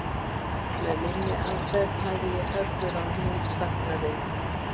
Með minni aðferð hafði ég höggvið á hnút þagnarinnar